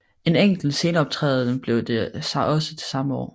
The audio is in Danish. En enkelt sceneoptræden blev det også til samme år